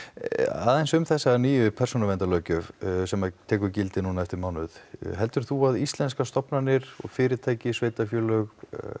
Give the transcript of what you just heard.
aðeins um þessa nýju persónuvernadarlöggjöf sem að tekur gildi núna eftir mánuð heldur þú að íslenskar stofnanir og fyrirtæki sveitarfélög